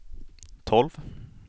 tolv